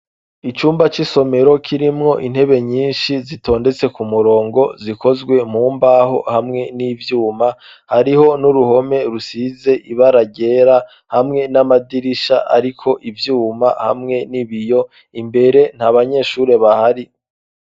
Icumba c'isomero kirimwo intebe nyinshi zitondetse ku murongo zikozwe mumbaho hamwe n'ivyuma, hariho n'uruhome rusize ibara ryera, hamwe n'amadirisha ariko ivyuma hamwe n'ibiyo, imbere nta banyeshure bahari.